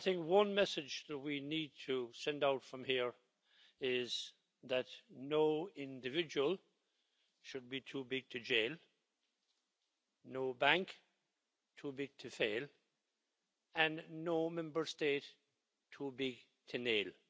One message that we need to send out from here is that no individual should be too big to jail, no bank too big to fail, and no Member State too big to nail.